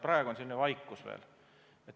Praegu on veel vaikus.